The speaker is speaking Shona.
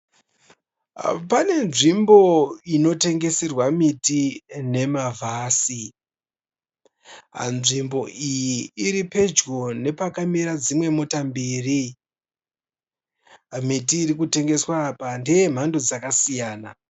Pane nzvimbo inotengeserwa miti nemavhasi. Nzvimbo iyi iri pedyo nepakamira dzimwe mota mbiri. Miti iri kutengeswa apa ndeyemhando dzakasiyana.